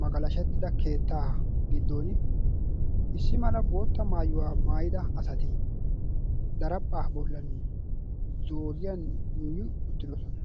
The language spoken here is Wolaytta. magalashettida keettaa giddon issi mala bootta maayuwaa maayida asati daraphphaa bollan zooriyan yuuyi uttidosona.